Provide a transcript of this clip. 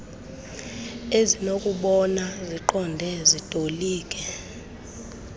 ezinokubona ziqonde zitolike